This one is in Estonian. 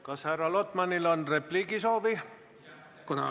Kas härra Lotmanil on repliigisoovi?